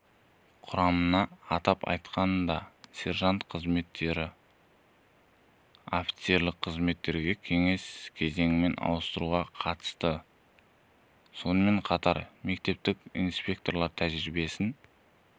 құрамына атап айтқанда сержант қызметтерін офицерлік қызметтерге кезең-кезеңмен ауыстыруға қатысты сонымен қатар мектептік инспекторлар тәжірибесін